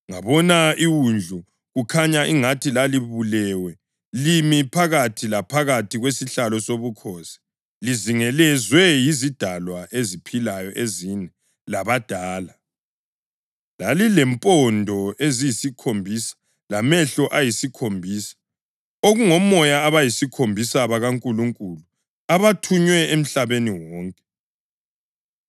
Ngabona iWundlu, kukhanya angathi lalibulewe, limi phakathi laphakathi kwesihlalo sobukhosi, lizingelezwe yizidalwa eziphilayo ezine labadala. Lalilempondo eziyisikhombisa lamehlo ayisikhombisa, okungomoya abayisikhombisa bakaNkulunkulu abathunywe emhlabeni wonke.